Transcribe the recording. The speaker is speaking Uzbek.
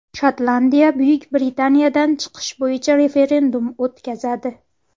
Shotlandiya Buyuk Britaniyadan chiqish bo‘yicha referendum o‘tkazadi.